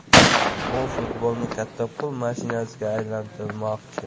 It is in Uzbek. U futbolni katta pul mashinasiga aylantirmoqchi” !